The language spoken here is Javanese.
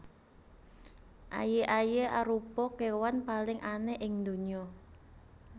Aye aye arupa kewan paling aneh ing ndonya